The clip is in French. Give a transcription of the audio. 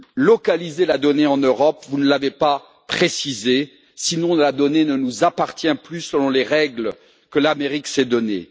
localiser la donnée en Europe vous ne l'avez pas précisé sinon la donnée ne nous appartient plus, selon les règles que l'Amérique s'est données.